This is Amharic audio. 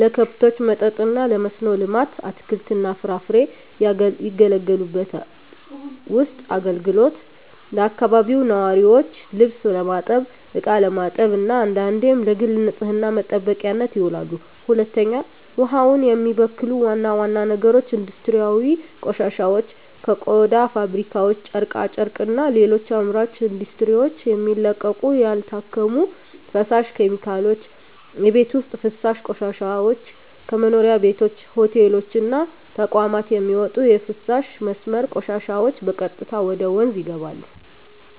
ለከብቶች መጠጥ እና ለመስኖ ልማት (አትክልትና ፍራፍሬ) ያገለግላሉለቤት ውስጥ አገልግሎት ለአካባቢው ነዋሪዎች ልብስ ለማጠብ፣ እቃ ለማጠብ እና አንዳንዴም ለግል ንፅህና መጠበቂያነት ይውላሉ። 2. ውሃውን የሚበክሉ ዋና ዋና ነገሮች ኢንዱስትሪያዊ ቆሻሻዎች ከቆዳ ፋብሪካዎች፣ ጨርቃ ጨርቅና ሌሎች አምራች ኢንዱስትሪዎች የሚለቀቁ ያልታከሙ ፈሳሽ ኬሚካሎች። የቤት ውስጥ ፍሳሽ ቆሻሻዎች ከመኖሪያ ቤቶች፣ ሆቴሎች እና ተቋማት የሚወጡ የፍሳሽ መስመር ቆሻሻዎች በቀጥታ ወደ ወንዞች ይገባሉ።